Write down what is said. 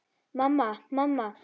Mamma, mamma.